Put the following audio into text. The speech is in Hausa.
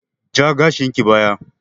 Ja gashinki baya!